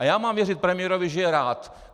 A já mám věřit premiérovi, že je rád.